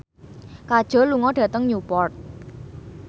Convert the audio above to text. Kajol lunga dhateng Newport